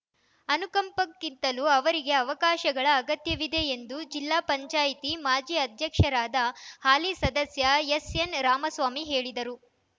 ಅನುಕಂಪಕ್ಕಿಂತಲೂ ಅವರಿಗೆ ಅವಕಾಶಗಳ ಅಗತ್ಯವಿದೆ ಎಂದು ಜಿಲ್ಲಾ ಪಂಚಾಯಿತಿ ಮಾಜಿ ಆಧ್ಯಕ್ಷರಾದ ಹಾಲಿ ಸದಸ್ಯ ಎಸ್‌ಎನ್‌ ರಾಮಸ್ವಾಮಿ ಹೇಳಿದರು